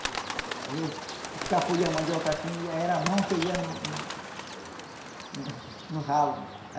Às vezes escapulia a mandioca assim e aí era a mão que ia no no no ralo.